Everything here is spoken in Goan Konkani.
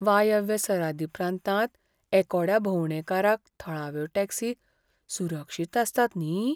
वायव्य सरादी प्रांतांत एकोड्या भोंवडेकारांक थळाव्यो टॅक्सी सुरक्षीत आसतात न्ही?